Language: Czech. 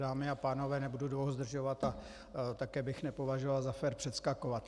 Dámy a pánové, nebudu dlouho zdržovat a také bych nepovažoval za fér předskakovat.